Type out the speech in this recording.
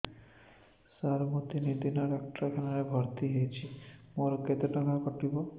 ସାର ମୁ ତିନି ଦିନ ଡାକ୍ତରଖାନା ରେ ଭର୍ତି ହେଇଛି ମୋର କେତେ ଟଙ୍କା କଟିବ